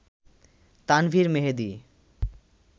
Tanvir Mehedi